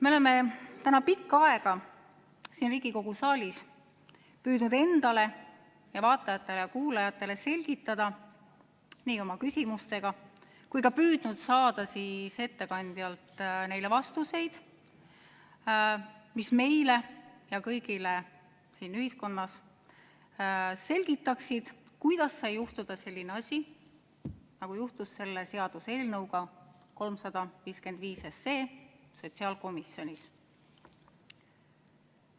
Me oleme täna pikka aega siin Riigikogu saalis püüdnud endale ja vaatajatele-kuulajatele selgitada nii oma küsimustega kui ka püüdnud saada ettekandjalt neile vastuseid, mis meile ja kõigile siin ühiskonnas selgitaksid, kuidas sai juhtuda selline asi, nagu juhtus selle seaduseelnõuga 355 sotsiaalkomisjonis.